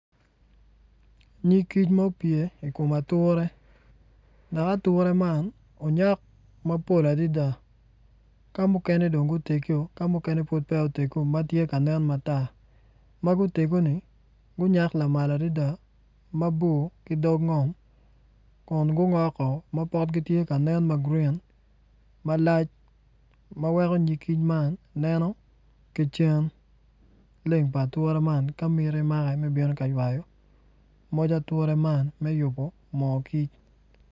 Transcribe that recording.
Nyig kic ma opye i kom ature dok atura man onyak maplo adida ka mukene dong gutegi ka mukene pud piya utegu ma tye ka nen ma gutegoni gunyak lamal adida mabor ki dog ngom kun gu ngoko ma potgi tye ka nen ma gurin malac ma weko nyig kic man neno ki cen leng pa atura man ka mitti make me bino ka ywayo moc atura man me yubu moo kic